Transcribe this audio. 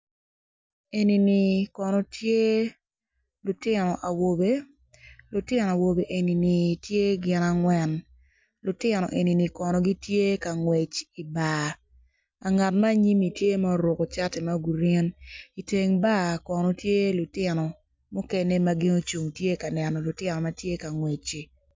Eni kono tye lutino awobe lutino awobe eni kono tye gin agwen lutino enini kono gity tye ngwec I bar. Ngat acel kono tye obedo I bar I tend bar Kono tye lutino mukene ma gitye ka neno lutino ma gitye ka ngwecici.